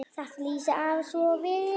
Þetta lýsir afa svo vel.